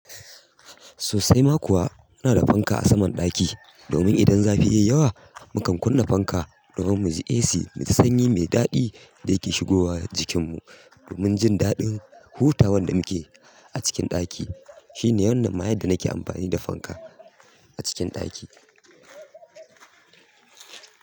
Sosai ma kuwa ina da fanka a saman ɗaki, domin idan zafi ya yi yawa mukan kunna fanka domin mu ji AC mu ji sanyi mai daɗi da yake shigowa jikin mu. Domin jin daɗin hutawa da nake a cikin ɗaki. Shi ne wannan ma yadda nake amfani da fanka a cikin ɗaki.